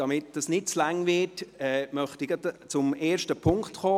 Damit es nicht zu lange dauert, möchte ich gleich zum ersten Punkt kommen.